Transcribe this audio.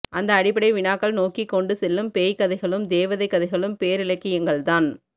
அந்த அடிப்படை வினாக்கள் நோக்கிக் கொண்டுசெல்லும் பேய்க்கதைகளும் தேவதைக் கதைகளும் பேரிலக்கியங்கள்தான்